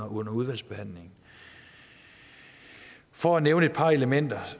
under udvalgsbehandlingen for at nævne et par elementer